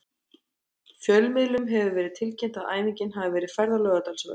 Fjölmiðlum hefur verið tilkynnt að æfingin hafi verið færð á Laugardalsvöll.